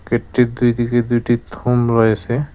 গেটটির দুই দিকে দুইটি থম রয়েছে।